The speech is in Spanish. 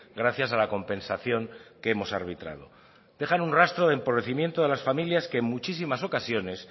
gracias a la compensación que hemos arbitrado dejan un rastro de empobrecimiento de las familias que en muchísimas ocasiones